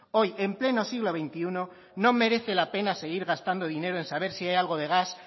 hoy en pleno siglo veintiuno no merece la pena seguir gastando dinero en saber si hay algo de gas